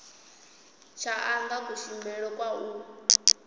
tsha anga kushumele kwa u